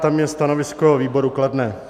Tam je stanovisko výboru kladné.